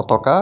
পতাকা.